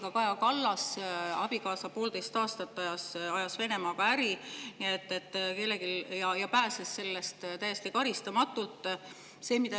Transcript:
Ka Kaja Kallase abikaasa ajas poolteist aastat Venemaaga äri ja pääses täiesti karistamatult.